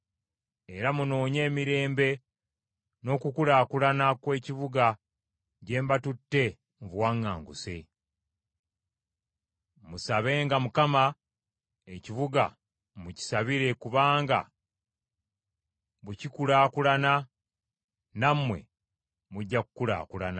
Era munoonye emirembe n’okukulaakulana kw’ekibuga gye mbatutte mu buwaŋŋanguse. Musabenga Mukama , ekibuga mukisabire kubanga bwe kikulaakulana nammwe mujja kukulaakulana.”